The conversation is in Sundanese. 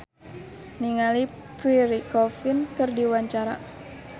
Uyan Suryana olohok ningali Pierre Coffin keur diwawancara